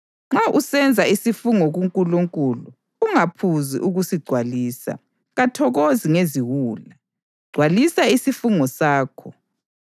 Nxa usenza isifungo kuNkulunkulu, ungaphuzi ukusigcwalisa. Kathokozi ngeziwula; gcwalisa isifungo sakho.